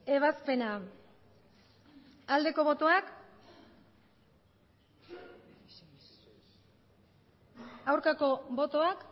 ebazpena aldeko botoak aurkako botoak